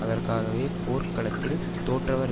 அதற்காகவே போர்க் களத்தில் தோற்றவர்